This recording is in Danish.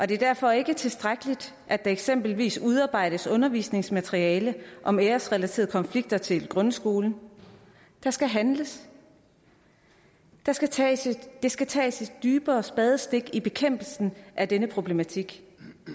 det er derfor ikke tilstrækkeligt at der eksempelvis udarbejdes undervisningsmateriale om æresrelaterede konflikter til grundskolen der skal handles der skal tages skal tages et dybere spadestik i bekæmpelsen af denne problematik